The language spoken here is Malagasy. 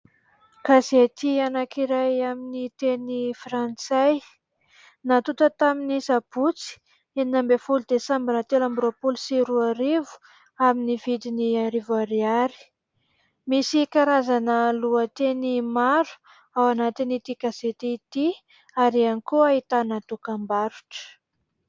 Gazety anankiray amin'ny teny frantsay natonta tamin'ny Sabotsy enina ambin'ny folo desambra telo ambin'ny roapolo sy roa arivo amin'ny vidiny arivo Ariary. Misy karazana lohateny maro ao anatin'ity gazety ity ary ihany koa ahitana dokam-barotra.